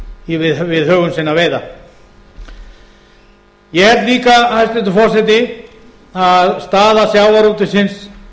en hitt við höfum sinna veiða ég held líka hæstvirtur forseti að staða sjávarútvegsins